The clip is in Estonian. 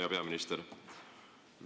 Hea peaminister!